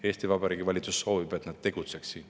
Eesti Vabariigi Valitsus soovib, et nad tegutseksid.